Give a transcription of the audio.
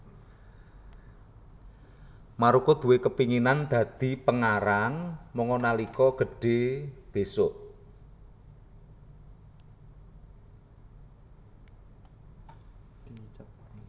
Maruko duwé kepinginan dadi pengarang manga nalika gedhe besok